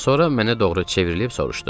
Sonra mənə doğru çevrilib soruşdu.